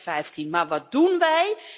2015. Maar wat doen wij?